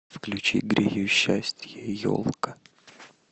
включи грею счастье елка